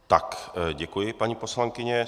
Tak děkuji, paní poslankyně.